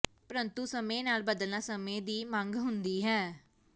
ਪ੍ਰੰਤੂ ਸਮੇਂ ਨਾਲ ਬਦਲਣਾ ਸਮੇਂ ਦੀ ਮੰਗ ਹੁੰਦੀ ਹੈ